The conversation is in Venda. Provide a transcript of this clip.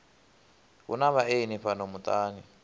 hu na vhaeni fhano muṱani